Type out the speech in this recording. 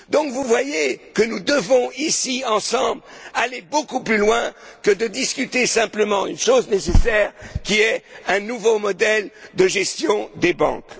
Vous voyez que nous devons, ici, ensemble, aller beaucoup plus loin que de discuter simplement d'une chose nécessaire, à savoir un nouveau modèle de gestion des banques.